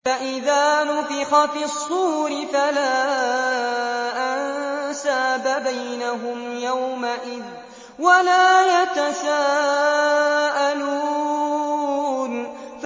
فَإِذَا نُفِخَ فِي الصُّورِ فَلَا أَنسَابَ بَيْنَهُمْ يَوْمَئِذٍ وَلَا يَتَسَاءَلُونَ